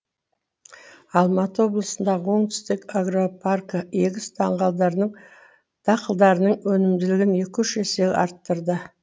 алматы облысындағы оңтүстік агропаркі егіс дақылдарының өнімділігін екі үш есеге арттырды